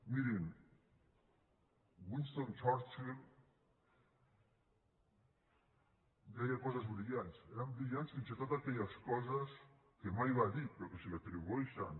mirin winston churchill deia coses brillants eren brillants fins i tot aquelles coses que mai va dir però que se li atribueixen